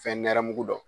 Fɛn nɛnɛ mugu dɔn